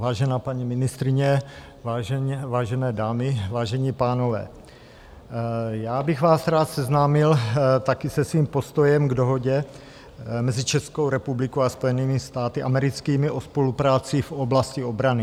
Vážená paní ministryně, vážené dámy, vážení pánové, já bych vás rád seznámil taky se svým postojem k Dohodě mezi Českou republikou a Spojenými státy americkými o spolupráci v oblasti obrany.